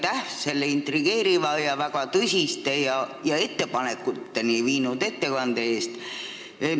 Aitäh selle intrigeeriva ja väga tõsiste ettepanekuteni viinud ettekande eest!